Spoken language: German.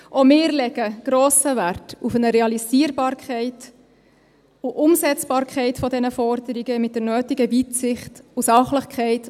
Auch wir legen grossen Wert auf eine Realisierbarkeit und Umsetzbarkeit dieser Forderungen mit der nötigen Weitsicht und Sachlichkeit.